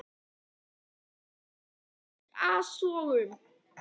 Þau voru einnig full af ekkasogum.